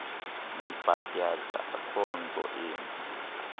nibhatyaza akhonto imbi